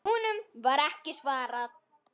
Honum var ekki svarað.